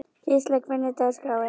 Gísla, hvernig er dagskráin?